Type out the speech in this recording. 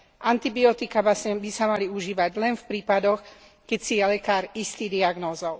Antibiotiká vlastne by sa mali užívať len v prípadoch, keď si je lekár istý diagnózou.